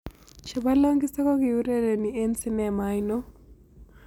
Chebo longisa ko kiurereni eng' sinemo ainon